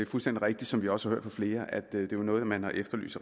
fuldstændig rigtigt som vi også har hørt af flere at det jo er noget man har efterlyst